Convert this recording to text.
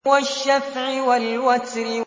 وَالشَّفْعِ وَالْوَتْرِ